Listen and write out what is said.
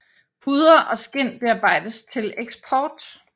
Huder og skind bearbejdes til eksport